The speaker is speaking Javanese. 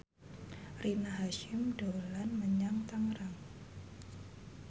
Rina Hasyim dolan menyang Tangerang